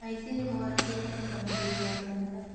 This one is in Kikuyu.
Aici nĩmoragĩte mũrangĩri wa kanitha